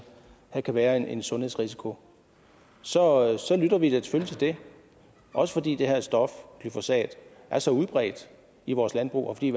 der kan være en sundhedsrisiko så så lytter vi da selvfølgelig til det og fordi det her stof glyfosat er så udbredt i vores landbrug og fordi